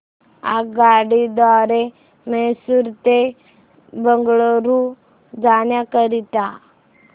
आगगाडी द्वारे मैसूर ते बंगळुरू जाण्या करीता